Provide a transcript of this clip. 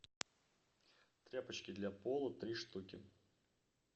тряпочки для пола три штуки